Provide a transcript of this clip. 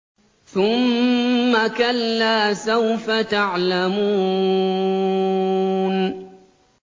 ثُمَّ كَلَّا سَوْفَ تَعْلَمُونَ